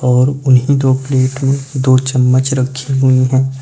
और उन्हीं दो प्लेट में दो चम्मच रखी हुई है।